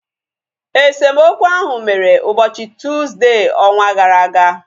Esemokwu ahu mere ụbọchị Tuuzde ọnwa gara aga